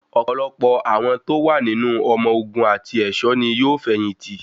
Ọ̀pọ̀lọpọ̀ àwọn tó wà nínú ọmọ ogun àti ẹ̀ṣọ́ ní yóò fẹ̀yìn tì.